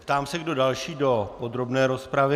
Ptám se, kdo další do podrobné rozpravy.